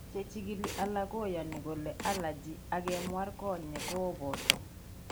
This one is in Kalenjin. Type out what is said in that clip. Chechikili alak koyaani kole allergy ak kinwar konyek kooboto.